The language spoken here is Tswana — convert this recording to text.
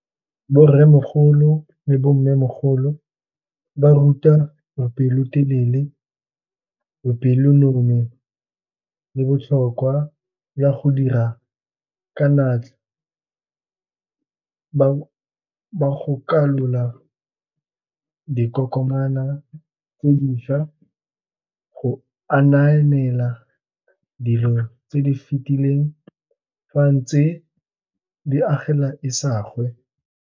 Borremogolo le bo mmemogolo ba ruta bopelotelele, bopelonomi, botlhokwa ba go dira ka naatla ba gakolola dikokomana tse dišwa go ananela dilo tse di fetileng, fa ntse di agela isagwe.